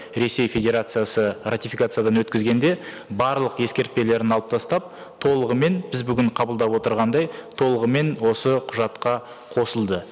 ресей федерациясы ратификациядан өткізгенде барлық ескертпелерін алып тастап толығымен біз бүгін қабылдап отырғандай толығымен осы құжатқа қосылды